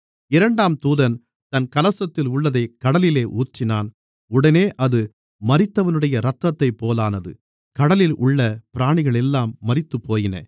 இரண்டாம் தூதன் தன் கலசத்தில் உள்ளதைக் கடலிலே ஊற்றினான் உடனே அது மரித்தவனுடைய இரத்தத்தைப்போலானது கடலிலுள்ள பிராணிகளெல்லாம் மரித்துப்போயின